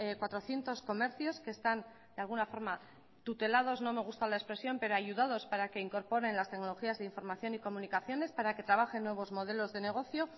cuatrocientos comercios que están de alguna forma tutelados no me gusta la expresión pero ayudados para que incorporen las tecnologías de información y comunicaciones para que trabajen nuevos modelos de negocio